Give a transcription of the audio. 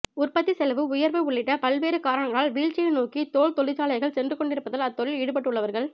உற்பத்தி செல்வு உயர்வு உள்ளிட்ட பல்வேறு காரணங்களால் வீழ்ச்சியை நோக்கி தோல் தொழிற்சாலைகள் சென்றுக் கொண்டிருப்பதால் அத்தொழிலில் ஈடுபட்டுள்ளவர்கள்